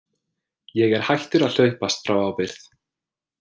Ég er hættur að hlaupast frá ábyrgð.